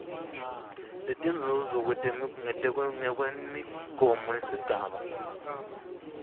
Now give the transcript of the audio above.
letinzuzo ngekwemigomo yalesigaba